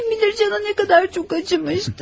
Kim bilir canı nə qədər çox acımışdır?